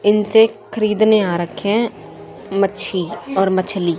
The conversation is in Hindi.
इनसे खरीदने आ रखे हैं मच्छी और मछली--